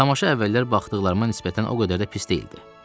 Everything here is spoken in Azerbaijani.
Tamaşa əvvəllər baxdıqlarıma nisbətən o qədər də pis deyildi.